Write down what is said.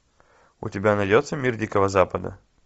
у тебя найдется мир дикого запада